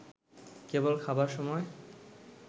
কেবল খাবার সময়